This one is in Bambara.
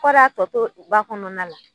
Kɔri a tɔ to ba kɔnɔna la?